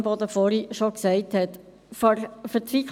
Imboden hat bereits darauf hingewiesen.